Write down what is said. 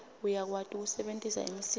uyakwati kusebentisa imisindvo